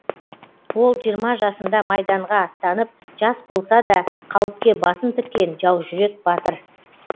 ол жиырма жасында майданға аттанып жас болса да қауіпке басын тіккен жаужүрек батыр